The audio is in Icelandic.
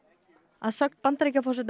að sögn Bandaríkjaforseta